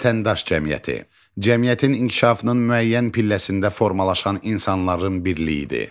Vətəndaş cəmiyyəti cəmiyyətin inkişafının müəyyən pilləsində formalaşan insanların birliyidir.